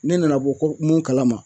Ne nana bɔ ko, mun kalama